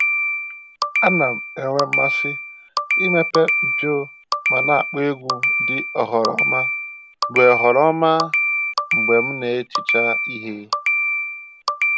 A na m-enwe mmasị imepe mpio ma na-akpọ egwu dị oghoroma mgbe oghoroma mgbe m na-ehicha ihe